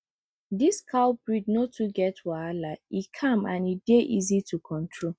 this cow breed no too get wahala e calm and e dey easy to control